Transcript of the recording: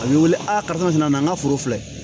A bɛ wele a karisa nana n ka foro filɛ